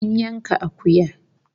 An yanka akuya